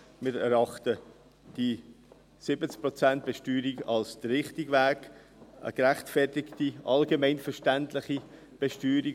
Wir erachten die 70Prozent-Besteuerung als den richtigen Weg, als eine gerechtfertigte allgemeinverständliche Besteuerung.